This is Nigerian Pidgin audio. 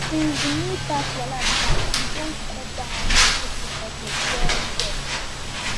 since di new tax wahala start we don cut down our monthly food budget well well